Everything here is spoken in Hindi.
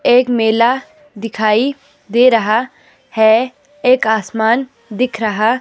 एक मेला दिखाई दे रहा है एक आसमान दिख रहा--